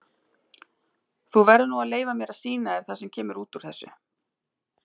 Þú verður nú að leyfa mér að sýna þér það sem kemur út úr þessu.